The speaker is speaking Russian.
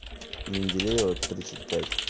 менделеева тридцать пять